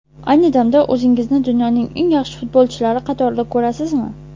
Ayni damda o‘zingizni dunyoning eng yaxshi futbolchilari qatorida ko‘rasizmi?